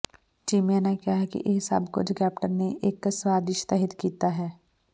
ਚੀਮਾ ਨੇ ਕਿਹਾ ਕਿ ਇਹ ਸਭ ਕੁੱਝ ਕੈਪਟਨ ਨੇ ਇੱਕ ਸਾਜਿਸ ਤਹਿਤ ਕੀਤਾ ਹੈ